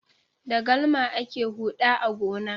Da galma ake huɗa a gona.